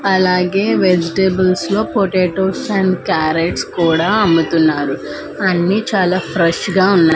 అలాగే వెజిటేబుల్స్ లో potatoes and carrots కూడా అమ్ముతున్నారు అన్నీ చాలా ఫ్రెష్ గా ఉన్నాయ్.